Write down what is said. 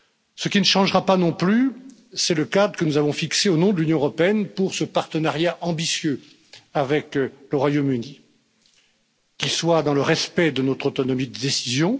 Ce qui ne changera pas, non plus, c'est le cadre que nous avons fixé au nom de l'Union européenne pour ce partenariat ambitieux avec le Royaume Uni, qui soit dans le respect de notre autonomie de décision